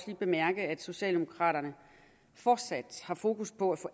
bemærke at socialdemokraterne fortsat har fokus på at få